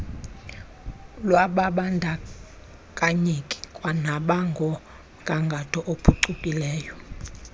lwababandakanyeki kwanangomgangatho ophucukileyo